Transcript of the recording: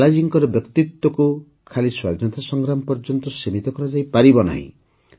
ଲାଲାଜୀଙ୍କର ବ୍ୟକ୍ତିତ୍ୱକୁ ଖାଲି ସ୍ୱାଧୀନତା ସଂଗ୍ରାମ ପର୍ଯ୍ୟନ୍ତ ସୀମିତ କରାଯାଇପାରିବନି